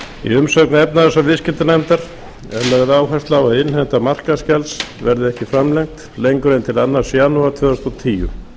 umsögn efnahags og viðskiptanefndar er lögð áhersla á að innheimta markaðsgjalds verði ekki framlengd lengur en til annan janúar tvö þúsund og tíu